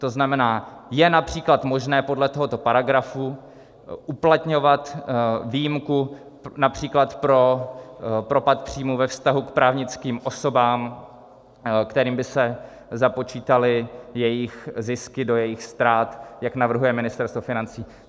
To znamená, je například možné podle tohoto paragrafu uplatňovat výjimku například pro propad příjmů ve vztahu k právnickým osobám, kterým by se započítaly jejich zisky do jejich ztrát, jak navrhuje Ministerstvo financí.